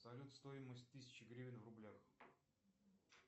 салют стоимость тысячи гривен в рублях